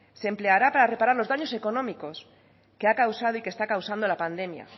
se empleará para reparar los daños económicos que ha causado y que está causando la pandemia